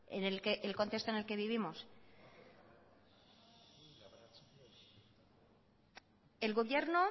en el contexto en el que vivimos el gobierno